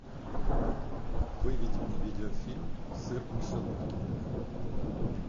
выведи мне видеофильм сыр в мышеловке